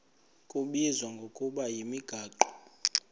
kubizwa ngokuba yimigaqo